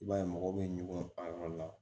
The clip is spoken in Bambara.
I b'a ye mɔgɔw bɛ ɲugun a yɔrɔ la